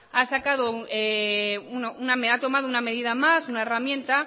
ha tomado una medida más una herramienta